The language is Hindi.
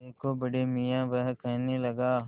देखो बड़े मियाँ वह कहने लगा